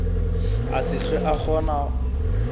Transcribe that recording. a se hlwe a kgona